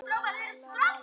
Hvað kölluðu þeir mig?